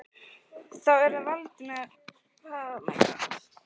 Þá er það Valdimar félagi ykkar.